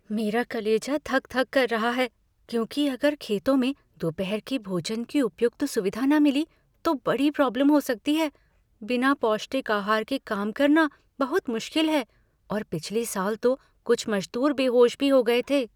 मेरा कलेजा धक धक कर रहा है क्योंकि अगर खेतों में दोपहर के भोजन की उपयुक्त सुविधा न मिली तो बड़ी प्रॉब्लम हो सकती है। बिना पौष्टिक आहार के काम करना बहुत मुश्किल है और पिछले साल तो कुछ मज़दूर बेहोश भी हो गए थे।